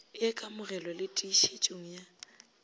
ya kamogelong le tiišetšong ya